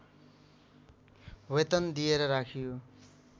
वेतन दिएर राखियो